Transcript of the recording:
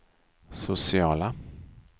sociala